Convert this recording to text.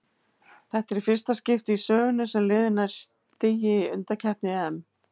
Þetta er fyrsta í skipti í sögunni sem liðið nær stigi í undankeppni EM.